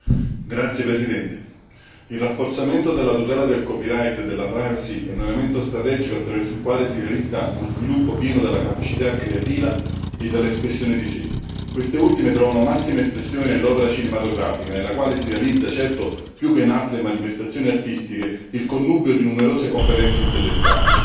Signor Presidente, onorevoli colleghi, il rafforzamento della tutela del copyright e della privacy è un elemento strategico attraverso il quale si realizza uno sviluppo pieno della capacità creativa e dell'espressione di sé. Queste ultime trovano massima espressione nell'opera cinematografica nella quale si realizza, più che in altre manifestazioni artistiche, il connubio di numerose competenze intellettuali.